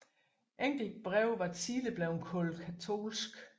Enkelte breve var tidligere blevet kaldt katolske